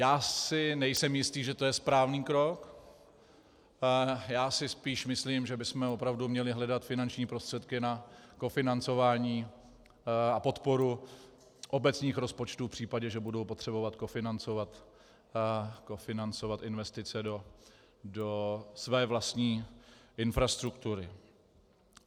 Já si nejsem jistý, že to je správný krok, já si spíš myslím, že bychom opravdu měli hledat finanční prostředky na kofinancování a podporu obecních rozpočtů v případě, že budou potřebovat kofinancovat investice do své vlastní infrastruktury.